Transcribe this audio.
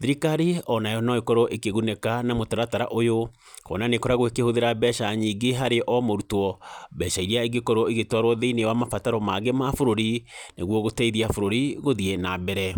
thirikari onayo no ĩkorwo ĩkĩgunĩka na mũtaratara ũyũ, kuona nĩkoragwo ĩkĩhũthĩra mbeca nyingĩ harĩ o mũrutwo, mbeca iria ingĩkorwo igĩtwarwo thĩinĩ wa mabataro mangĩ ma bũrũri, nĩguo gũteithia bũrũri gũthiĩ na mbere.